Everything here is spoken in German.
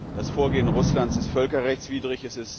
Das Vorgehen Russlands ist völkerrechtswidrig.